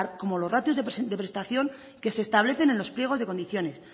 como los ratios de prestación que se establecen en los pliegos de condiciones